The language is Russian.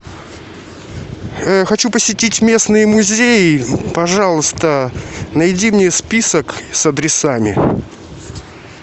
хочу посетить местные музеи пожалуйста найди мне список с адресами